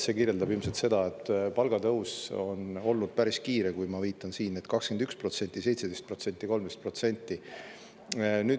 Seegi kajastab ilmselt seda, et palgatõus on olnud päris kiire, nagu ma viitasin: 21%, 17%, 13%.